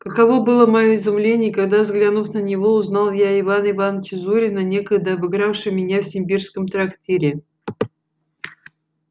каково было моё изумление когда взглянув на него узнал я ивана ивановича зурина некогда обыгравшего меня в симбирском трактире